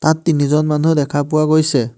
তাত তিনিজন মানুহ দেখা পোৱা গৈছে।